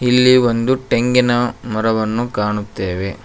ಇಲ್ಲಿ ಒಂದು ತೆಂಗಿನ ಮರವನ್ನು ಕಾಣುತ್ತೇವೆ.